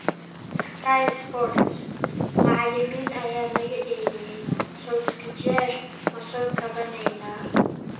(Sky Sports) Macallimiin ayaa laga eryay, Solskjaer ma soo kabanaynaa?